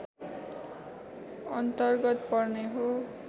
अन्तर्गत पर्ने हो